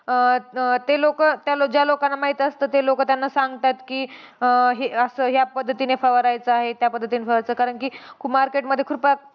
अं ते लोकं, त्या लो ज्या लोकांना ते माहित असतं ते लोकं त्यांना सांगतात की अं हे असं, ह्या पद्धतीने फवारायचं आहे, त्या पद्धतीने फवारायचं आहे. कारण की market मध्ये खृपा